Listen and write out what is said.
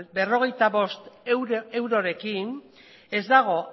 berrogeita bost eurorekin ez dago